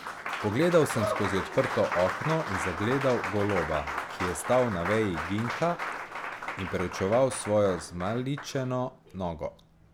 Pogledal sem skozi odprto okno in zagledal goloba, ki je stal na veji ginka in preučeval svojo zmaličeno nogo.